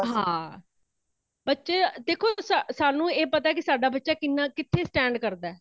ਹਾਂ ਬੱਚੇ ,ਦੇਖੋ ਸਾਨੂ ਇਹ ਪਤਾ ਕੀ ਸਾਡਾ ਬੱਚਾ ਕਿਨਾਂ ਕਿੱਥੇ stand ਕਰਦਾਂ ਹੇ